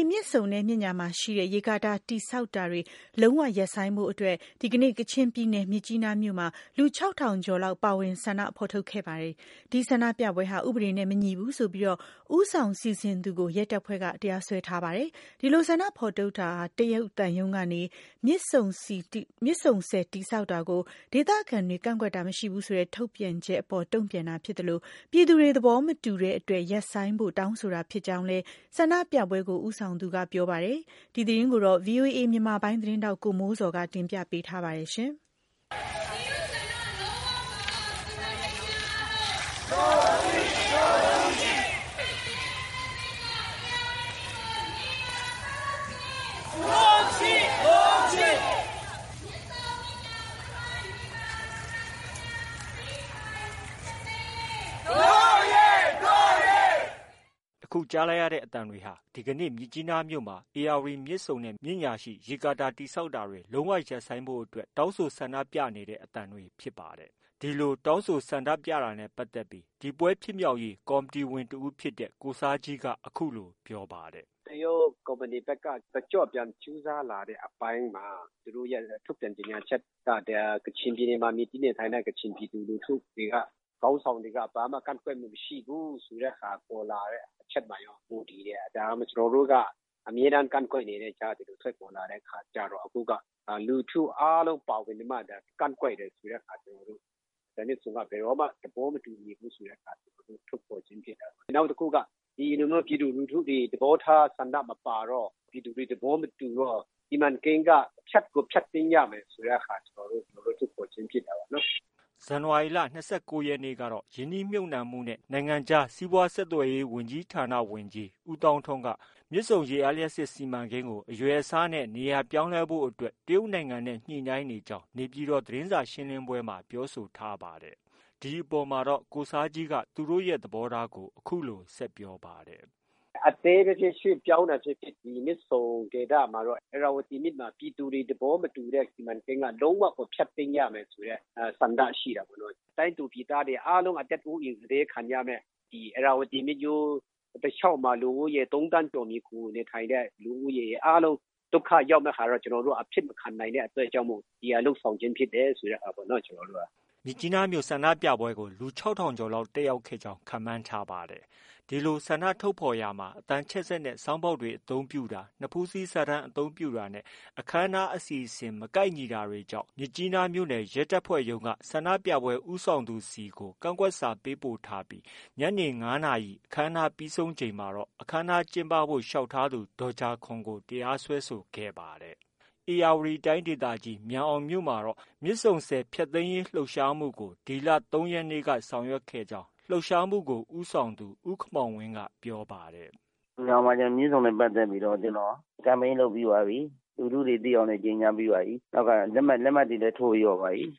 ီမြစ်ဆုံနဲ့ မြစ်ညာရှိ ရေကာတာတည်ဆောက်တာတွေ လုံးဝရပ်ဆိုင်းဖို့အတွက် ဒီကနေ့ ကချင်ပြည်နယ် မြစ်ကြီးနားမြို့မှာ လူ ၆၀၀၀ ကျော်လောက် ပါဝင် ဆန္ဒထုတ်ဖော်ခဲ့ပါတယ်။ ဒီဆန္ဒပြပွဲဟာ ဥပဒေနဲ့မညီဘူးဆိုပြီး ဦးဆောင်စီစဉ်သူကို ရဲတပ်ဖွဲ့က တရားစွဲထားပါတယ်။ ဒီလို ဆန္ဒထုတ်ဖော်တာဟာ တရုတ်သံရုံးက မြစ်ဆုံဆည်တည်ဆောက်တာကို ဒေသခံတွေက ကန့်ကွက်တာမရှိဘူးဆိုတဲ့ ထုတ်ပြန်ချက်အပေါ် တုံပြန်တာဖြစ်သလို ပြည်သူ့တွေ သဘောမတူတဲ့အတွက် ရပ်ဆိုင်းဖို့ တောင်းဆိုတာဖြစ်ကြောင်းလည်း ဆန္ဒပြပွဲကို ဦးဆောင်သူက ပြောပါတယ်။ ဒီသတင်းကို ဗွီအိုအေမြန်မာပိုင်းရဲ့သတင်းထောက် ကိုမိုးဇော်က တင်ပြထားပါတယ်။ အခုကြားလိုက်ရတဲ့အသံတွေဟာ ဒီကနေ့ မြစ်ကြီးနားမြို့မှာ ဧရာဝတီမြစ်ဆုံနဲ့ မြစ်ညာရှိ ရေကာတာ တည်ဆောက်တာတွေ လုံးဝရပ်ဆိုင်းဖို့အတွက် တောင်းဆို ဆန္ဒပြနေတဲ့ အသံတွေဖြစ်ပါတယ်။ ဒီလိုတောင်းဆိုဆန္ဒပြတာနဲ့ပတ်သက်လို့ ဒီပွဲဖြစ်မြောက်ရေးကော်မတီဝင်တစ်ဦးဖြစ်တဲ့ ကိုဆာဂျီးက အခုလို ပြောပါတယ်။ “ တရုတ်ကုမ္ပဏီဘက်က တကျော့ပြန် ကြိုးစားလာတဲ့အပိုင်းမှာ သူတို့ရဲ့ ထုတ်ပြန်ကြေညာချက်မှာ ကချင်ပြည်နယ်မှာ မှီတင်းနေထိုင်တဲ့ ကချင်ပြည်သူလူထုတွေက ခေါင်းဆောင်တွေက ဘာမှ မကန့်ကွက်မှု မရှိဘူးဆိုတဲ့ဟာ ပေါ်လာတဲ့ အချက်မှာရော မူတည်တယ်။ ဒါ ကျနော်တို့က အမြဲတမ်း ကန့်ကွက်နေတဲ့ အကြားက ဒီလို ထွက်ပေါ်လာတဲ့အခါကျတော့ ကျနော်တို့က လူထုအားလုံးပါဝင်ပြီးမှ ကန့်ကွက်တယ်ဆိုတဲ့ဟာ ကျနော်တို့ မြစ်ဆုံကို ဘယ်တော့မှ သဘောမတူဘူးဆိုတဲ့ဟာကို ထုတ်ဖော်ခြင်းဖြစ်တယ်။ နောက်တစ်ခုက ဒီလိုမျိုးပြည်သူလူထုတွေ သဘောထားဆန္ဒမပါတော့ ပြည်သူတွေ သဘောမတူတော့ စီမံကိန်းက ဖျက်ကို ဖျက်သိမ်း ရမယ်ဆိုတဲ့ဟာ သဘောထားထုတ်ဖော်ခြင်းဖြစ်တာပေါ့။” ဇန်နဝါရီလ ၂၉ ရက်နေ့ကတော့ ရင်းနှီးမြှုပ်နှံမှုနဲ့ နိုင်ငံခြားစီးပွားဆက်သွယ်ရေး ဝန်ကြီးဌာန ဝန်ကြီး ဦးသောင်းထွန်း မြစ်ဆုံရေအားလျှပ်စစ်စီမံကိန်း အရွယ်အစားနဲ့ နေရာပြောင်းလဲဖို့အတွက် တရုတ်နိုင်ငံနဲ့ ညှိနှိုင်းနေကြောင်း နေပြည်တော် သတင်းစာရှင်းလင်းပွဲမှာ ပြောဆိုထားပါတယ်။ ဒီအပေါ်မှာတော့ ကိုဆားဂျီက သူတို့ သဘောထားကို အခုလို ဆက်ပြောပါတယ်။ “အသေးပဲဖြစ်ဖြစ် ရွှေ့ပြောင်းတာဖြစ်ဖြစ် ဒီမြစ်ဆုံဒေသမှာတော့ ဧရာဝတီမြစ်မှာ ပြည်သူတွေ သဘောမတူတဲ့ စီမံကိန်းက လုံးဝကို ဖျက်သိမ်းရမယ်ဆိုတဲ့ ဆန္ဒရှိတာပေါ့။ တိုင်းသူပြည်သားတွေ အားလုံး အသက်အိုးအိမ် စတေးခံရမယ့် ဧရာဝတီမြစ်ရိုးတစ်လျောက်မှာ လူဦးရေ ၃သန်းကျော် မှီခိုနေထိုင်တဲ့ လူဦးရေ အားလုံး ဒုက္ခ ရောက်မယ့်ဟာတော့ ကျနော်တို့က အဖြစ်မခံနိုင်တဲ့အတွက်ကြောင့်မို့ ဒီဟာ လုပ်ဆောင်ခြင်းဖြစ်တယ်ပေါ့။ ” မြစ်ကြီးနားမြို့ ဆန္ဒပြပွဲကို လူ ၆၀၀၀ ကျော်လောက် တက်ရောက်ခဲ့ကြောင်းခန့်မှန်းထားပါတယ်။ ဒီလို ဆန္ဒထုတ်ဖော်ရာမှာ အသံချဲ့စက်နဲ့ ဆောင်းဘောက်တွေ အသုံးပြုတာ၊ နဖူးစည်းစာတမ်းအသုံးပြုတာနဲ့ အခန်းအနားအစီအစဉ် မကိုက်ညီတာတွေကြောင့် မြစ်ကြီးနားမြို့နယ် ရဲတပ်ဖွဲ့မှုးရုံးက ဆန္ဒပြပွဲဦးဆောင်သူဆီကို ကန့်ကွက်စာ ပေးပို့ထားပြီး ညနေ ၅နာရီ အခမ်းအနားပြီးဆုံးချိန်မှာတော့ အခမ်းအနားကျင်းပဖို့ လျှောက်ထားသူ ဒေါ်ဂျာခေါန်ကို တရားစွဲဆိုခဲ့ပါတယ်။ ဧရာဝတီတိုင်းဒေသကြီးမြန်အောင်မြို့မှာတော့ မြစ်ဆုံဆည်ဖျက်သိမ်းရေးလှုပ်ရှားမှုကို ဒီလ ၃ ရက်နေ့က ဆောင်ရွက်ခဲ့ကြောင်း လှုပ်ရှားမှုကို ဦးဆောင်သူ ဦးခင်မောင်ဝင်းက ပြောပါတယ်။ “မြန်အောင်မှာ မြစ်ဆုံနဲ့ပတ်သက်ပြီးတော့ campaign လုပ်ပြီးသွားပြီ။ လူထုတွေသိအောင်လည်း ကြေညာပြီးပါပြီ။ လက်မှတ်တွေလည်း ထိုးပြီးသွားပါပြီ။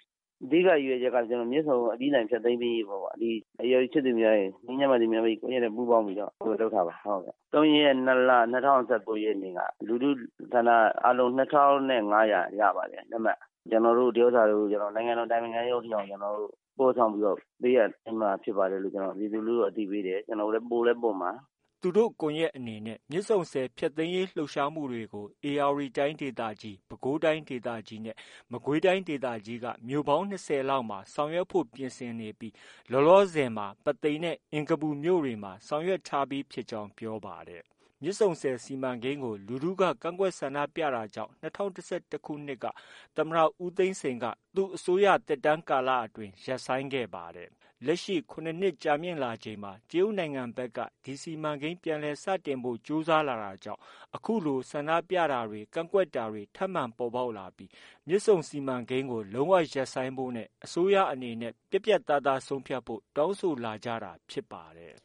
အဓိက ရည်ရွယ်ချက်က မြစ်ဆုံကို အပြီးအပိုင်ဖျက်သိမ်းရေးပေါ့။ ဒီ ဧရာဝတီချစ်သူများရယ်၊ ငြိမ်းချမ်းပါစေမြန်မာပြည်ကွန်ရက်နဲ့ ပူးပေါင်းပြီးတော့ လုပ်တာပါ။ ၃ရက် ၂လ ၂၀၁၉နေ့က လူထုဆန္ဒအားလုံး ၂ထောင် နဲ့ ၅ရာ ရပါတယ် လက်မှတ် ။ ကျနော်တို့ ဒီဥစ္စာတွေကို နိုင်ငံတော် အတိုင်ပင်ခံရုံးအထိအောင် ကျနော်တို့ ပို့ဆောင်ပေးအပ်သွားမှာဖြစ်ပါတယ်လို့ ပြည်သူလူထုကို အသိပေးတယ်။ ပို့လည်း ပို့မှာ။ ” သူတို့ ကွန်ရက်အနေနဲ့ မြစ်ဆုံဆည်ဖျက်သိမ်းရေးလှုပ်ရှားမှုတွေကို ဧရာဝတီတိုင်းဒေသကြီး၊ ပဲခူးတိုင်းဒေသကြီး နဲ့ မကွေးတိုင်းဒေသကြီးက မြို့ပေါင်း ၂၀လောက်မှာ ဆောင်ရွက်ဖို့ ပြင်ဆင်နေပြီး လောလောဆည်မှာ ပုသိမ်နဲ့ အင်္ဂပူမြို့တွေမှာ ဆောင်ရွက်ထားပြီးဖြစ်ကြောင်း ပြောပါတယ်။ မြစ်ဆုံဆည်စီမံကိန်းကို လူထုက ကန့်ကွက်ဆန္ဒပြတာကြောင့် ၂၀၁၁ခုနှစ်မှာ သမ္မတ ဦးသိန်းစိန်က သူ့အစိုးရသက်တမ်းကာလအတွင်း ရပ်ဆိုင်းခဲ့ပါတယ်။ လက်ရှိ ၇နှစ်ကြာမြင့်လာချိန်မှာ တရုတ်နိုင်ငံဘက်က ဒီစီမံကိန်း ပြန်လည်စတင်ဖို့ ကြိုးစားလာတာကြောင့် အခုလို ဆန္ဒပြတာတွေ ကန့်ကွက်တာတွေ ထပ်မံပေါ်ပေါက်လာပြီး မြစ်ဆုံစီမံကိန်းကို လုံးဝရပ်ဆိုင်းဖို့ နဲ့ အစိုးရအနေနဲ့ ပြတ်ပြတ်သားသားဆုံးဖြတ်ဖို့ တောင်းဆိုလာကြတာဖြစ်ပါတယ်